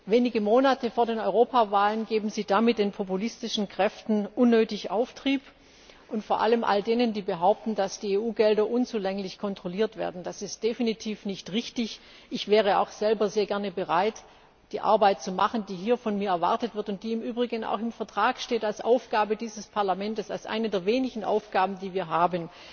Wenige Monate vor der Europawahl geben Sie damit den populistischen Kräften unnötig Auftrieb, vor allem all jenen, die behaupten, dass die EU Gelder unzulänglich kontrolliert werden. Das ist definitiv nicht richtig. Ich wäre auch selber sehr gerne bereit, die Arbeit zu machen, die hier von mir erwartet wird und die im Übrigen auch als Aufgabe dieses Parlaments im Vertrag steht, als eine der wenigen Aufgaben, die wir haben